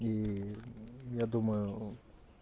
и я думаю